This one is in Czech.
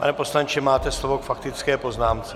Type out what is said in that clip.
Pane poslanče, máte slovo k faktické poznámce.